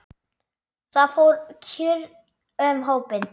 Það fór kurr um hópinn.